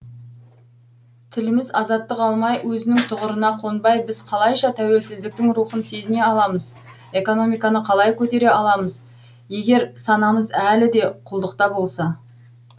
тіліміз азаттық алмай өзінің тұғырына қонбай біз қалайша тәуелсіздіктің рухын сезіне аламыз экономиканы қалай көтере аламыз егер санамыз әлі де құлдықта болса